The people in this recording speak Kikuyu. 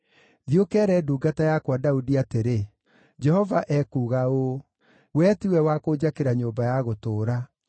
“Thiĩ ũkeere ndungata yakwa Daudi atĩrĩ, ‘Jehova ekuuga ũũ: Wee tiwe wa kũnjakĩra nyũmba ya gũtũũra.